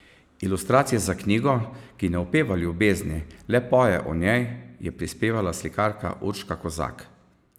Ilustracije za knjigo, ki ne opeva ljubezni, le poje o njej, je prispevala slikarka Urška Kozak.